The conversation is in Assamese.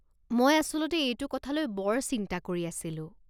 মই আচলতে এইটো কথালৈ বৰ চিন্তা কৰি আছিলোঁ।